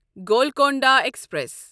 Golconda express